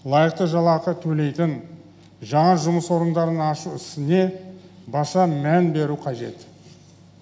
лайықты жалақы төлейтін жаңа жұмыс орындарын ашу ісіне баса мән беру қажет